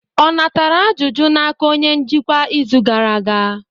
Ọ natara ajụjụ n'aka onye njikwa izu gara aga?